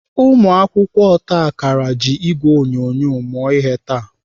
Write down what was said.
Ụmụakwụkwọ otakara ji ìgwè onyonyo mụọ ihe taa.